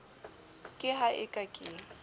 ka ha e ka ke